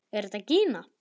Er þetta gína?